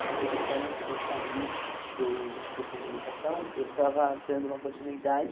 Inclusive esse ano antes de eu sair do do Centro de Educação, eu estava dando uma continuidade